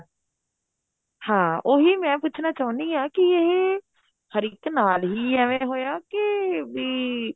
ਹਾਂ ਉਹੀ ਮੈਂ ਪੁੱਛਣਾ ਚਾਉਨੀ ਆ ਕੀ ਇਹ ਹਰ ਇੱਕ ਨਾਲ ਹੀ ਐਵੇ ਹੋਇਆ ਕੇ ਬੀ